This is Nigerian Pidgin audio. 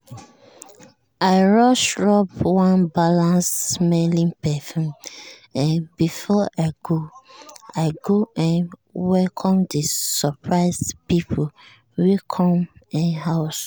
i rush rub one balanced-smelling perfume um before i go i go um welcome the surprise people wey come um house.